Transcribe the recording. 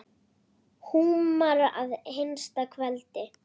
Húmar að hinsta kveldi.